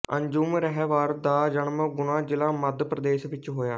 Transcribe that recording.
ਅੰਜੁਮ ਰਹਿਬਰ ਦਾ ਜਨਮ ਗੁਨਾ ਜ਼ਿਲ੍ਹਾ ਮੱਧ ਪ੍ਰਦੇਸ਼ ਵਿੱਚ ਹੋਇਆ